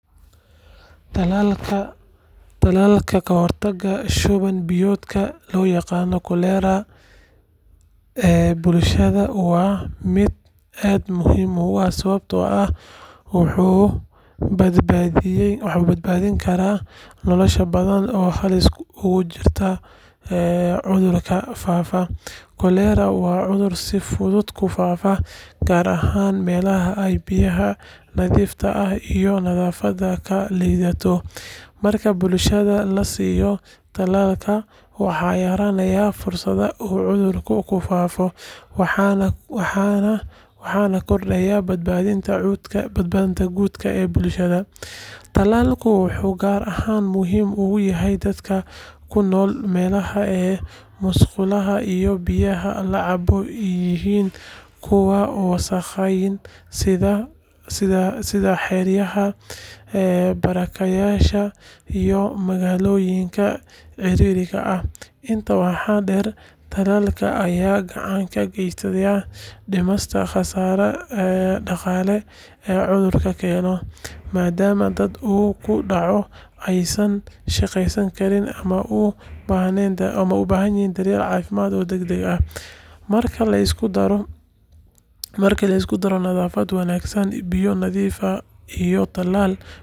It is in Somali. Talaalka ka hortagga shuban biyoodka (cholera) ee bulshada waa mid aad muhiim u ah sababtoo ah wuxuu badbaadin karaa nolosho badan oo halis ugu jirta cudurkan faafa. Cholera waa cudur si fudud ku faafo, gaar ahaan meelaha ay biyaha nadiifta ah iyo nadaafaddu ka liidato. Marka bulshada la siiyo talaalka, waxaa yaraanaya fursadda uu cudurku ku faafo, waxaana kordhaya badbaadada guud ee bulshada. Talaalku wuxuu gaar ahaan muhiim u yahay dadka ku nool meelaha ay musqulaha iyo biyaha la cabo yihiin kuwo wasakhaysan, sida xeryaha barakacayaasha iyo magaalooyinka ciriiriga ah. Intaa waxaa dheer, talaalka ayaa gacan ka geysanaya dhimista khasaaraha dhaqaale ee cudurka keeno, maadaama dadka uu ku dhaco aysan shaqeyn karin ama u baahdaan daryeel caafimaad oo degdeg ah. Marka la isku daro nadaafad wanaagsan, biyo nadiif ah iyo talaal, bulsha.da waxay yeelan kartaa difaac